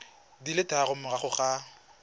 di le tharo morago ga